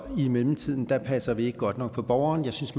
i mellemtiden passer vi ikke godt nok på borgeren jeg synes